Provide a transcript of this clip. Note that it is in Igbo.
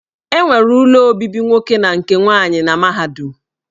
E nwere ụlọ obibi nwoke na nke nwaanyị na mahadum.